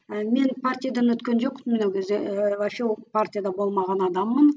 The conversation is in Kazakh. ы мен партиядан өткен жоқпын мен ол кезде вообще ол партияда болмаған адаммын